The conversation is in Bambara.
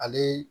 Ale